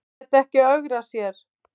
Lét ekki ögra sér